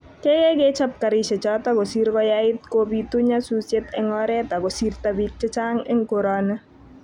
keikeey kechop karishechoto kosiir koyait kobiitu nyasusiet eng oret agosirto biik chechang eng koroni